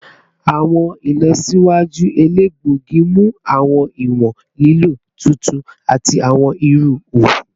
Awọn ilọsiwaju elegbogi mu awọn iwọn lilo titun ati awọn iru oogun